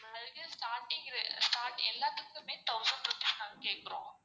அதுக்கு starting ரெ எல்லாத்துக்குமே thousand rupees நாங்க கேக்குறோம்.